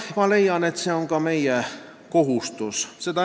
Ma leian, et see on ka meie kohustus.